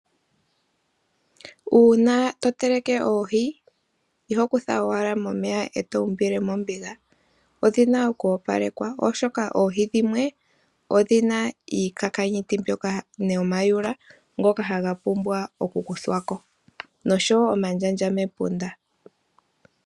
Uuna to teleke oohi, iho kutha owala momeya eto umbile mombiga. Odhina oku opalekwa oshoka oohi dhimwe odhina iikakanyutu nomayula ngoka haga pumbwa oku kuthwa ko, noshowo omandjandja mepunda.